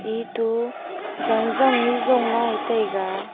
etu zan zang ley jon lai taiga.